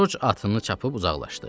Corc atını çapurub uzaqlaşdı.